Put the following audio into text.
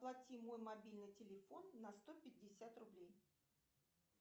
оплати мой мобильный телефон на сто пятьдесят рублей